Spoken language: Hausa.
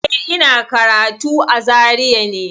Eh, ina karatu a Zaria ne.